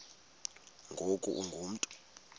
ngoku ungu mntu